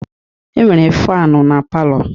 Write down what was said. E nwere faanu na palọ.